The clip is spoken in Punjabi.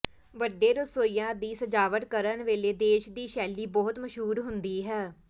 ਵੱਡੇ ਰਸੋਈਆਂ ਦੀ ਸਜਾਵਟ ਕਰਨ ਵੇਲੇ ਦੇਸ਼ ਦੀ ਸ਼ੈਲੀ ਬਹੁਤ ਮਸ਼ਹੂਰ ਹੁੰਦੀ ਹੈ